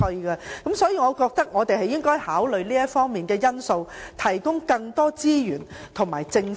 因此我們應考慮向他們提供更多資源和政策。